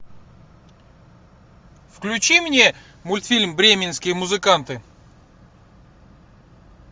включи мне мультфильм бременские музыканты